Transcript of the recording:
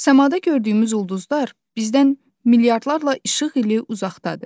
Samada gördüyümüz ulduzlar bizdən milyardlarla işıq ili uzaqdadır.